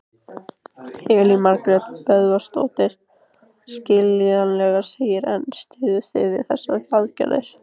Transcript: Elín Margrét Böðvarsdóttir: Skiljanlegt, segirðu en styðjið þið þessar aðgerðir?